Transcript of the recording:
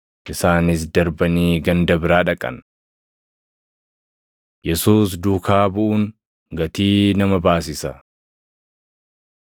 Isaanis darbanii ganda biraa dhaqan. Yesuus Duukaa Buʼuun Gatii Nama Baasisa 9:57‑60 kwf – Mat 8:19‑22